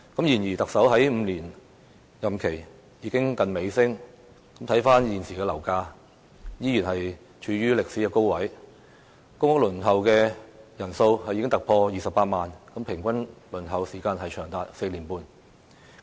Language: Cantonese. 然而，特首的5年任期接近尾聲，現時的樓價依然處於歷史高位，公屋輪候人數已經突破28萬人，平均輪候時間長達4年半。